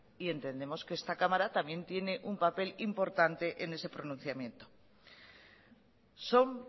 y entendemos que esta cámara también tiene un papel importante en ese pronunciamiento son